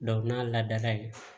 n'a ladala yen